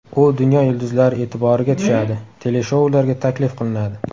U dunyo yulduzlari e’tiboriga tushadi, teleshoularga taklif qilinadi.